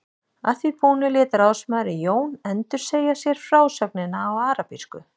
Að því búnu lét ráðsmaðurinn Jón endursegja sér frásögnina á arabísku.